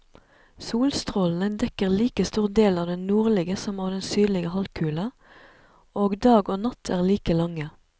Solstrålene dekker like stor del av den nordlige som av den sydlige halvkule, og dag og natt er like lange.